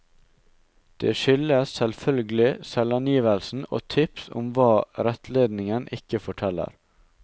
Det skyldes selvfølgelig selvangivelsen, og tips om hva rettledningen ikke forteller.